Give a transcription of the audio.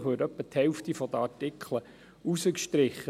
Vermutlich würde etwa die Hälfte der Artikel rausgestrichen.